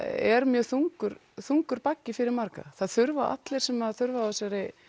er mjög þungur þungur baggi fyrir marga það þurfa allir sem þurfa á þessari